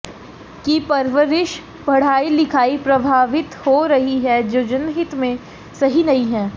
की परबरिस पडाई लिखाई प्रभावित हो रही है जो जनहित मे सही नही है